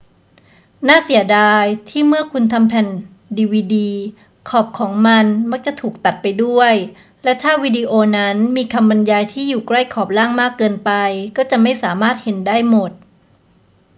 น่าเสียดายที่เมื่อคุณทำแผ่นดีวีดี ขอบของมันมักจะถูกตัดไปด้วย และถ้าวิดีโอนั้นมีคำบรรยายที่อยู่ใกล้ขอบล่างมากเกินไป ก็จะไม่สามารถเห็นได้หมด